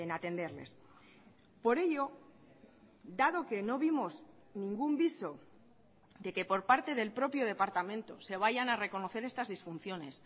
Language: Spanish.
atenderles por ello dado que no vimos ningún viso de que por parte del propio departamento se vayan a reconocer estas disfunciones